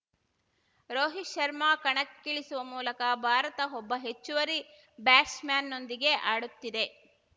ರೋಹಿತ್‌ ಶರ್ಮಾ ಕಣಕ್ಕಿಳಿಸುವ ಮೂಲಕ ಭಾರತ ಒಬ್ಬ ಹೆಚ್ಚುವರಿ ಬ್ಯಾಟ್ಸ್‌ಮನ್‌ನೊಂದಿಗೆ ಆಡುತ್ತಿದೆ